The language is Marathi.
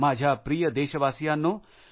माझ्या प्रिय देशबांधवांनो